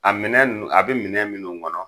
A minɛn nunnu a be minɛ minnu kɔnɔ